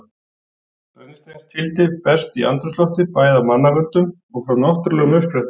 Brennisteinstvíildi berst í andrúmsloftið bæði af mannavöldum og frá náttúrulegum uppsprettum.